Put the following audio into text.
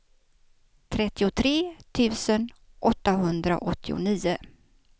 trettiotre tusen åttahundraåttionio